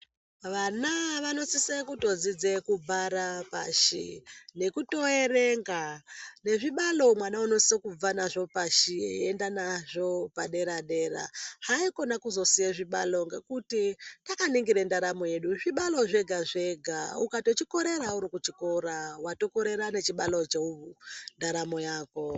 Vana vanosise kutodzidze kubhara pashi, nekutoerenga nezvibalo mwana unosise kubve nazvo pashi veiende nazvo padera-dera haikona kuzosiye zvibalo ngekuti takaningire ndaramo yedu zvibalo zvega-zvega, ukatochikorera uri kuchikora watokorera nechibalo chendaramo yako.